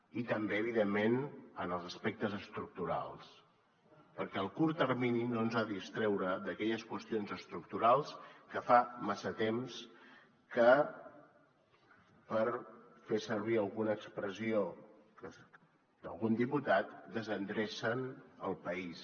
i també evidentment en els aspectes estructurals perquè el curt termini no ens ha de distreure d’aquelles qüestions estructurals que fa massa temps que per fer servir alguna expressió d’algun diputat desendrecen el país